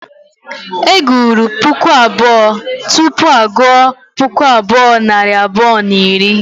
E gụrụ puku abụọ tupu a gụọ puku abụọ nari abụọ na iri